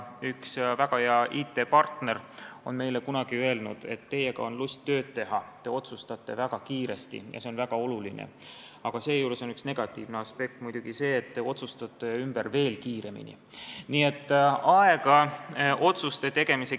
Üks väga hea IT-partner ütles meile kunagi, et teiega on lust tööd teha, te otsustate väga kiiresti ja see on väga oluline, aga seejuures on negatiivne aspekt muidugi see, et veel kiiremini te otsustate ümber.